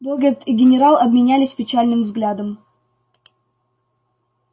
богерт и генерал обменялись печальным взглядом